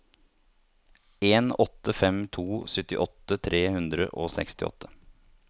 en åtte fem to syttiåtte tre hundre og sekstiåtte